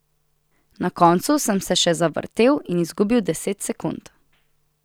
Na koncu sem se še zavrtel in izgubil deset sekund.